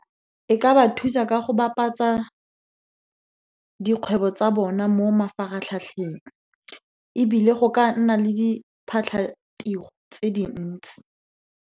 E ka ba thusa ka go bapatsa dikgwebo tsa bona mo mafaratlhatlheng, ebile go ka nna le diphatlhatiro tse dintsi.